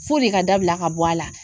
F'o de ka dabila ka bɔ a la.